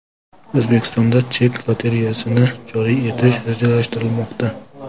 O‘zbekistonda chek lotereyasini joriy etish rejalashtirilmoqda.